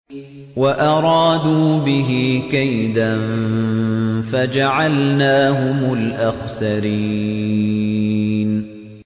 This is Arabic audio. وَأَرَادُوا بِهِ كَيْدًا فَجَعَلْنَاهُمُ الْأَخْسَرِينَ